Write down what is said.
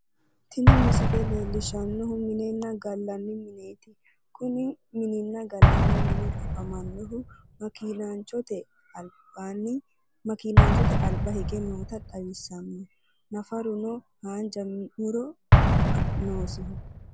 tini misile leellishanohu minena gallanni mineeti kuni minina gallani mini afamannohu maakinachote alba hige noota xawisanno nafaruno haanja muro noosi.